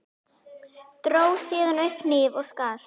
Dró síðan upp hníf og skar.